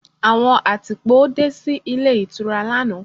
Àwọn àtìpó dé sí ilé ìtura lánàá.